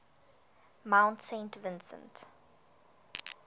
mount saint vincent